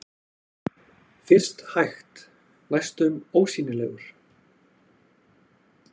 Fyrst hægt, næstum ósýnilegur.